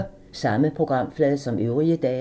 Samme programflade som øvrige dage